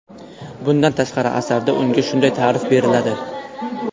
Bundan tashqari, asarda unga shunday ta’rif beriladi.